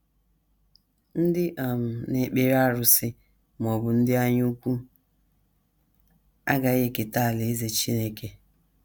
Ndị um na - ekpere arụsị... ma ọ bụ ndị anyaukwu... agaghị eketa alaeze Chineke. ”